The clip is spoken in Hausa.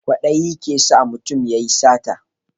Kwaɗayi ke sa mutum ya yi sata